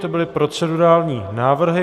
To byly procedurální návrhy.